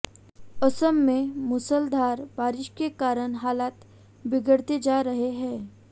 असम में मूसलाधार बारिश के कारण हालात बिगड़ते जा रहे हैं